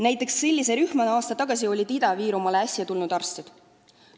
Näiteks oli selline rühm aasta tagasi Ida-Virumaale tulnud arstid.